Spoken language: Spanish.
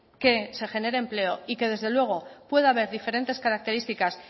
que se genere empleo y que desde luego pueda haber diferentes características